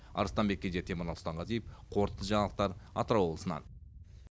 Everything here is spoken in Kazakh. арыстанбек кенже темірлан сұлтанғазиев қорытынды жаңалықтар атырау облысынан